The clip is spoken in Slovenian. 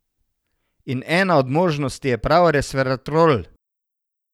In ena od možnosti je prav resveratrol.